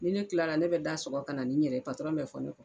Ni ne tilala ne bɛ da sɔgɔ ka na ni n yɛrɛ bɛ fɔ ne kɔ